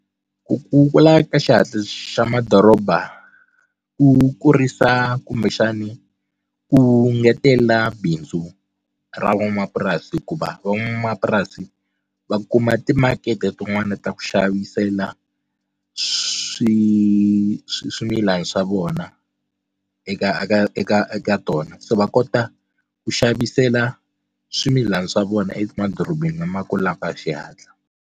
Ku kula ka xihatla xa madoroba ku kurisa kumbexani ku ngetela bindzu ra van'wamapurasi hikuva van'wamapurasi va kuma timakete tin'wani ta ku xavisela swi swimilana swa vona eka eka eka eka tona se va kota ku xavisela swimilana swa vona emadorobeni lama kulaka hi xihatla.